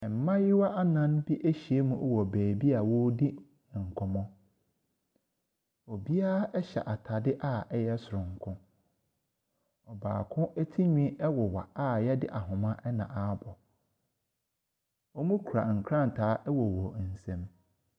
Mmaayewa nnan bi ahyia mu wɔ baabi a wɔredi nkɔmmɔ. Obiara hyɛ atadeɛ a ɛyɛ soronko. Ɔbaako tirinwi woware, awɔde na ahoma abɔ. Wɔkura nkrataa wɔ wɔn nsam.